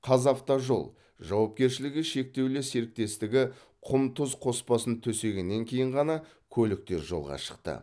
қазавтожол жауапкершілігі шектеулі серіктестігі құм тұз қоспасын төсегеннен кейін ғана көліктер жолға шықты